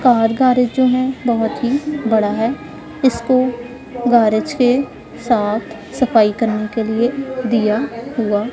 car garage जो है बहोत ही बड़ा है इसको गैरेज के साथ सफाई करने के लिए दिया हुआ--